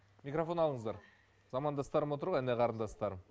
микрофон алыңыздар замандастырым отыр ғой іні қарындастарым